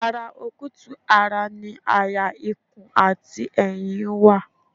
Ara okutu-ara ni àyà ikùn àti ẹ̀yìn wà